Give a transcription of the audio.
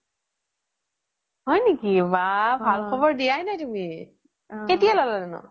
হয় নেকি ভাল খ্বৰ দিয়াই নাই তুমি কেতিয়া ল'লা নো ?